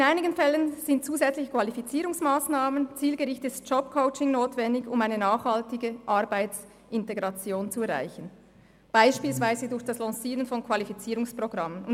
In einigen Fällen sind zusätzlich Qualifizierungsmassnahmen und zielgerichtetes Jobcoaching notwendig, um eine nachhaltige Arbeitsintegration zu erreichen, beispielsweise durch das Lancieren von Qualifizierungsprogrammen.